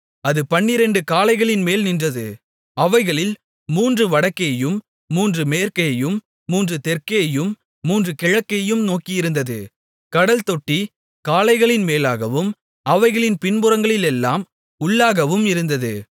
அது பன்னிரண்டு காளைகளின் மேல் நின்றது அவைகளில் மூன்று வடக்கேயும் மூன்று மேற்கேயும் மூன்று தெற்கேயும் மூன்று கிழக்கேயும் நோக்கியிருந்தது கடல்தொட்டி காளைகளின் மேலாகவும் அவைகளின் பின்புறங்களெல்லாம் உள்ளாகவும் இருந்தது